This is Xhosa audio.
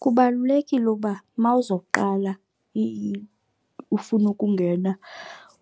Kubalulekile uba uma uzoqala ufuna ukungena